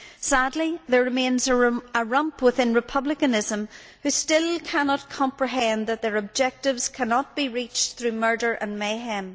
Sadly, there remains a rump within Republicanism who still cannot comprehend that their objectives cannot be reached through murder and mayhem.